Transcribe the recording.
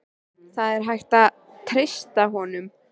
Það er ekki hægt að treysta honum.